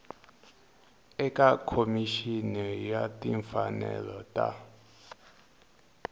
eka khomixini ya timfanelo ta